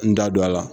N da don a la